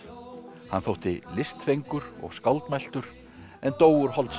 hann þótti og skáldmæltur en dó úr holdsveiki